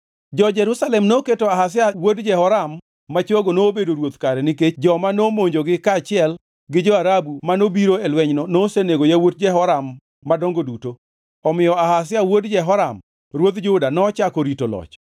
Jo-Jerusalem noketo Ahazia wuod Jehoram ma chogo nobedo ruoth kare nikech joma nomonjogi kaachiel gi jo-Arabu manobiro e lwenyno nosenego yawuot Jehoram madongo duto. Omiyo Ahazia wuod Jehoram ruodh Juda nochako rito loch.